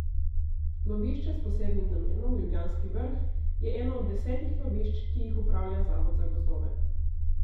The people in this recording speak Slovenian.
Lovišče s posebnim namenom Ljubljanski vrh je eno od desetih lovišč, ki jih upravlja zavod za gozdove.